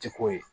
Ti ko ye